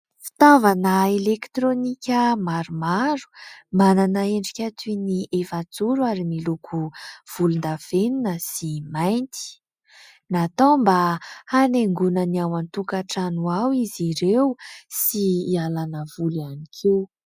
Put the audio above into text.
Fitaovana elektrônika maromaro, manana endrika toy ny efajoro ary miloko volon-davenona sy mainty. Natao mba hanaingona ny ao an-tokantrano ao izy ireo sy hialàna voly ihany koa.